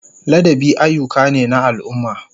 Ladabi ayyuka ne na al'umma.